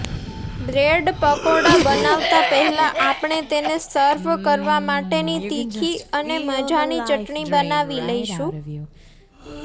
bread pakoda બનાવતા પહેલા આપણે તેને સર્વ કરવા માટેની તીખી અને મજાની ચટણી બનાવી લઈશું